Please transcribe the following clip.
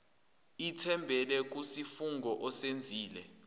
ithembele kusifungo osenzile